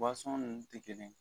ninnu tɛ kelen ye